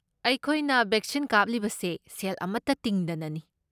ꯑꯩꯈꯣꯏꯅ ꯕꯦꯛꯁꯤꯟ ꯀꯥꯞꯂꯤꯕꯁꯦ ꯁꯦꯜ ꯑꯃꯠꯇ ꯇꯤꯡꯗꯅꯅꯤ꯫